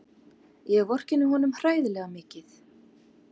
Ég vorkenni honum hræðilega mikið.